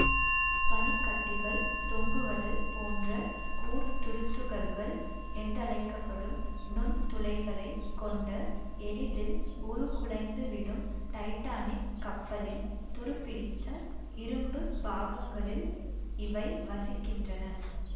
பனிக்கட்டிகள் தொங்குவது போன்ற கூர்த்துருத்துகள்கள் என்றழைக்க படும் நுண் துளைகளைக் கொண்ட எளிதில் உருக்குலைந்துவிடும் டைட்டானிக் கப்பலின் துரு பிடித்த இரும்பு பாகங்களில் இவை வசிக்கின்றன